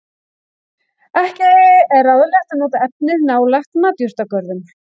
Ekki er ráðlegt að nota efnið nálægt matjurtagörðum.